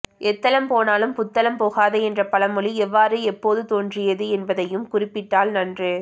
எத்தளம் போனாலும் புத்தளம் போகாதே என்ற பழமொழி எவ்வாறு எப்போது தோன்றியது என்பதையும் குறிப்பிட்டால் நன்று